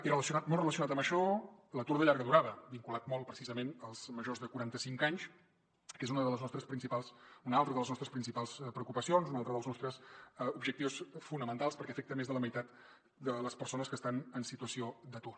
i molt relacionat amb això l’atur de llarga durada vinculat molt precisament als majors de quaranta cinc anys que és una altra de les nostres principals preocupacions un altre dels nostres objectius fonamentals perquè afecta més de la meitat de les persones que estan en situació d’atur